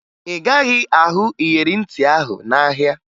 Ị gaghị ahụ iyeri ntị ahụ n'ahịa